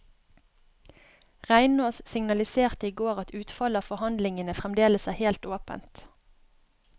Reinås signaliserte i går at utfallet av forhandlingene fremdeles er helt åpent.